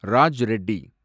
Raj Reddy